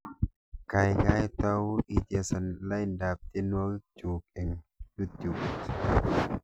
Gaigai tau ichesan laindab tyenwogikchuk eng yutubit